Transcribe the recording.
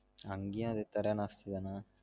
அங்கயும் அதே தர நாஸ்தி தானா